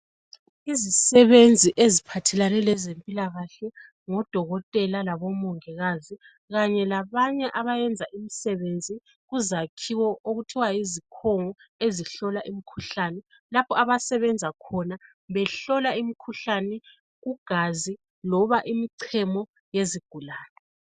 Izisebenzi eziphathelane lezempilakahle ngodokotela labomongikazi Kanye labanye abayenza imisebenzi kuzakhiwo okuthiwa yizikhongo ezihlola imkhuhlane lapho abasebenza khona behlola imkhuhlane kugazi loba kumcemo yezigulane.